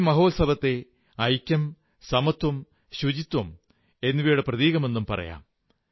ഈ മഹോത്സവത്തെ ഐക്യം സമത്വം ശുചിത്വം എന്നിവയുടെ പ്രതീകമെന്നും പറയാം